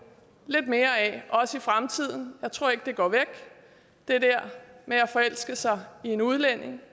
lidt mere af i fremtiden jeg tror ikke det der med at forelske sig i en udlænding